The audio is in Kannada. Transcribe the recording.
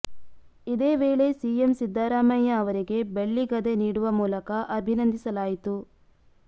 ಇದೇ ವೇಳೆ ಸಿಎಂ ಸಿದ್ದರಾಮಯ್ಯ ಅವರಿಗೆ ಬೆಳ್ಳಿ ಗದೆ ನೀಡುವ ಮೂಲಕ ಅಭಿನಂದಿಸಲಾಯಿತು